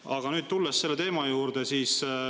Aga nüüd tulen selle teema juurde.